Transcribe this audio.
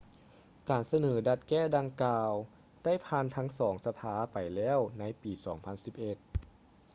ການສະເໜີດັດແກ້ດັ່ງກ່າວ ໄດ້ຜ່ານທັງສອງສະພາໄປແລ້ວໃນປີ 2011